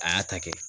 A y'a ta kɛ